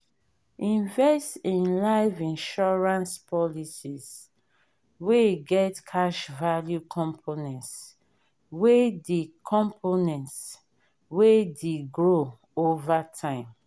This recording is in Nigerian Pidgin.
invest in life insurance policies wey get cash value components wey de components wey de grow over time